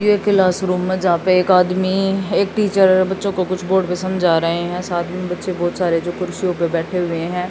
ये क्लासरूम है जहां पे एक आदमी एक टीचर बच्चों को कुछ बोर्ड पे समझा रहे है। साथ में बच्चे बहोत सारे जो कुर्सियों पे बैठे हुए है।